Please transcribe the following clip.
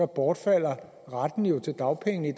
bortfalder retten til dagpenge